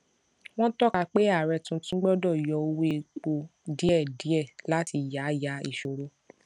wọn tọka pé ààrẹ tuntun gbọdọ yọ owó epo díẹdíẹ láti yáyà ìṣòro